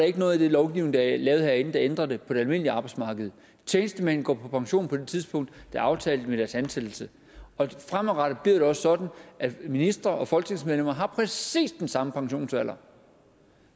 ikke noget i den lovgivning der er lavet herinde der ændrer det på det almindelige arbejdsmarked tjenestemænd går på pension på det tidspunkt der er aftalt ved deres ansættelse og fremadrettet bliver det også sådan at ministre og folketingsmedlemmer har præcis den samme pensionsalder